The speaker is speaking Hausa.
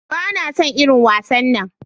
Bana son irin wasannan.